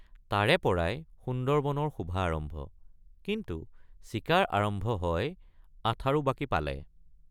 তাৰেপৰাই সুন্দৰবনৰ শোভা আৰম্ভ কিন্তু চিকাৰ আৰম্ভ হয় আঠাৰোবাকি পালে।